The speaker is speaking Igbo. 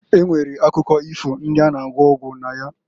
E nwere akụkọ ifo ndị a na- agwọ ọgwụ na ya.